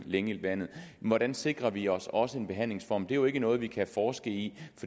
længe i vandet hvordan sikrer vi os også en behandlingsform det er jo ikke noget vi kan forske i